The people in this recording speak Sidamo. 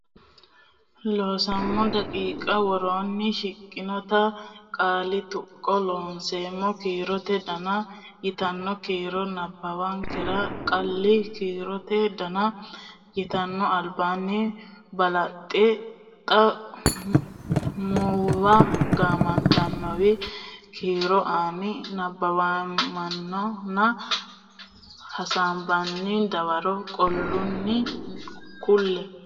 Looseemmo daqiiqa woroonni shiqqinota qaali Taqa Looseemmo kiirote dona yitanno kiiro nabbawankera qaali kiirote dona yitanno albaanni balaxote xa muwa gaamotenni kiiro ani nabbaweemmona mmana hasaabbine dawaro qaalunni kulle.